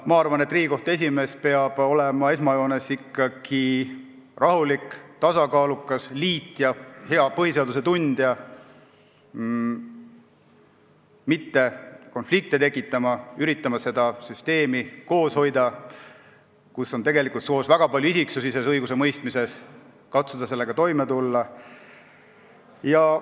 Ma arvan, et Riigikohtu esimees peab olema esmajoones ikkagi rahulik, tasakaalukas, liitja, hea põhiseaduse tundja ja mitte konflikte tekitama, üritama hoida koos seda süsteemi, kus on tegelikult koos väga palju isiksusi selles õigusemõistmises, katsuda sellega toime tulla.